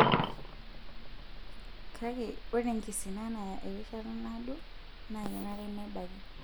Kake, ore enkisina naya erishata naado naa kenare nebaki.